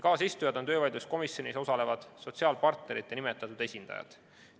Kaasistujad on töövaidluskomisjonis osalevad sotsiaalpartnerite nimetatud esindajad.